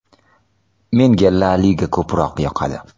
Menga La liga ko‘proq yoqadi.